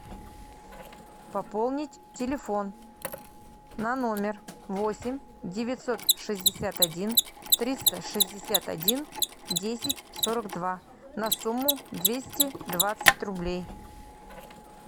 пополнить телефон на номер восемь девятьсот шестьдесят один триста шестьдесят один десять сорок два на сумму двести двадцать рублей